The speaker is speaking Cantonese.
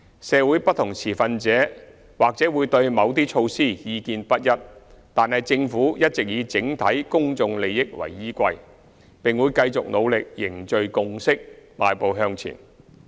社會不同持份者或會對某些措施意見不一，但政府一直以整體公眾利益為依歸，並會繼續努力凝聚共識，邁步向前。